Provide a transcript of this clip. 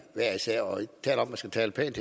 skal tale pænt